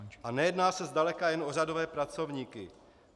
A nejedná se zdaleka jen o řadové pracovníky.